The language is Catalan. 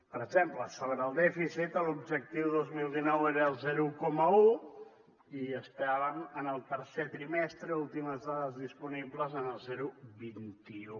per exemple sobre el dèficit l’objectiu dos mil dinou era el zero coma un i estàvem en el tercer trimestre últimes dades disponibles en el zero coma vint un